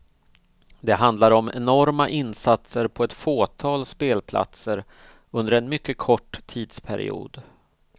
Det handlar om enorma insatser på ett fåtal spelplatser under en mycket kort tidsperiod.